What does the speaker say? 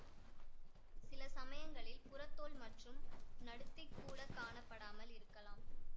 சில சமயங்களில் புறத்தோல் மற்றும் நடுத்திக் கூட காணப்படாமல் இருக்கலாம்